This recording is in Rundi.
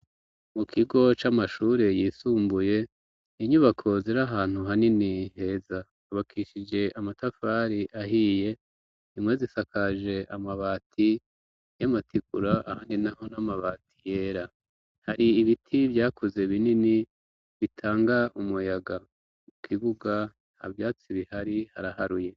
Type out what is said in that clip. Mu kigo c'amashure yisumbuye, inyubako ziri ahantu hanini heza, zubakishije amatafari ahiye, zimwe zisakaje amabati y'amategura ahandi, naho n'amabati yera, hari ibiti vyakuze binini bitanga umuyaga, ikibuga nta vyatsi bihari haraharuye.